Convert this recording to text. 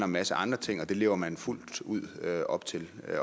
masse andre ting og det lever man fuldt ud op til